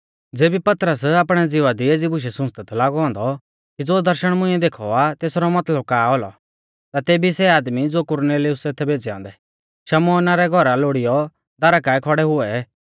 ज़ेबी पतरस आपणै ज़िवा दी एज़ी बुशै सुंच़दै थौ लागौ औन्दौ कि ज़ो दर्शण मुंइऐ देखौ आ तेसरौ मतलब का औलौ ता तेभी सै आदमी ज़ो कुरनेलियुसै थै भेज़ै औन्दै शमौना रै घौरा लोड़ीयौ दारा काऐ खौड़ै हुऐ